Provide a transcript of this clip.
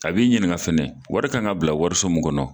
A b'i ɲininka fɛnɛ wari kan ka bila wariso min kɔnɔ.